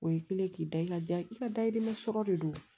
O ye kelen k'i da i ka da i ka dayirimɛ sɔrɔ de don